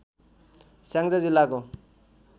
स्याङ्जा जिल्लाको